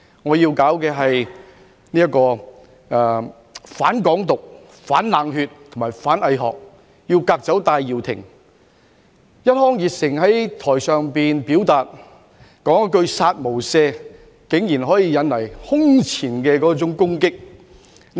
我要搞的是"反港獨、反冷血、反偽學，革走戴耀廷"，一腔熱誠在台上表達，說一句"殺無赦"，竟然可以引來空前的攻擊。